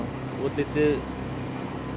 útlitið